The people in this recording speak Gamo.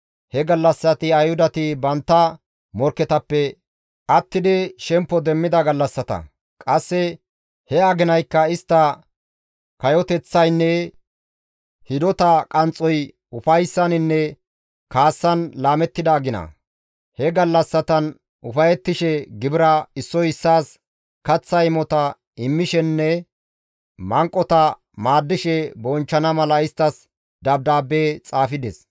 He gallassati Ayhudati bantta morkketappe attidi shemppo demmida gallassata; qasse he aginaykka istta kayoteththaynne hidota qanxxoy ufayssaninne kaassan laamettida agina; he gallassatan ufayettishe gibira, issoy issaas kaththa imota immishenne manqota maaddishe bonchchana mala isttas dabdaabbe xaafides.